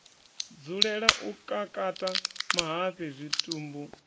dzulela u kakata mahafhe zwitumbu